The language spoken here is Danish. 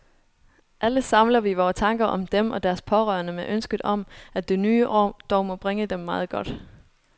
Alle samler vi vore tanker om dem og deres pårørende med ønsket om, at det nye år dog må bringe dem meget godt.